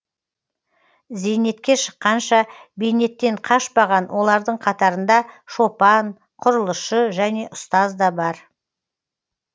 зейнетке шыққанша бейнеттен қашпаған олардың қатарында шопан құрылысшы және ұстаз да бар